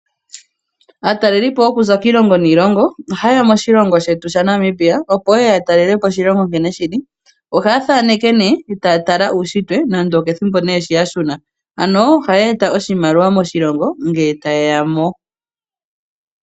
Aatalelipo yokuza kiilongo niilongo ohayeya moshilongo shetu shaNamibia opo yeye ya talele po oshilongo nkene shili. Ohaya thaaneke nee taya tala uushitwe nande okethimbo nee shi yashuna, ano ohaya eta oshimaliwa moshilongo ngele tayeya mo.